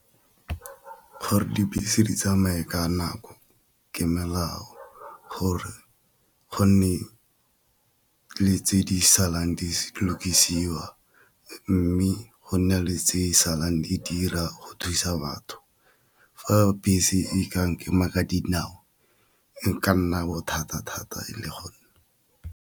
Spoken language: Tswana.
Gore dibese di tsamaye ka nako ke melao gore go nne le tse di salang di lokisiwa, mme go nna le tse salang di dira go thusa batho. Fa bese e ka nkema ka dinao e ka nna bothata thata e le .